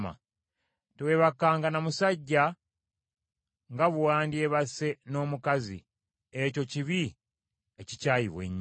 “ ‘Teweebakanga na musajja nga bwe wandyebase n’omukazi, ekyo kibi ekikyayibwa ennyo.